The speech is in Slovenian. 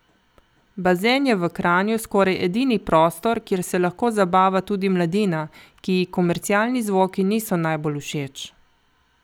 Bazen je v Kranju skoraj edini prostor, kjer se lahko zabava tudi mladina, ki ji komercialni zvoki niso najbolj všeč.